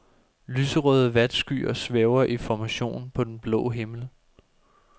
Lyserøde vatskyer svæver i formation på den blå himmel.